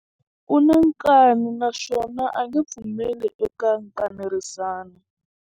U na nkani naswona a nge pfumeli eka nkanerisano.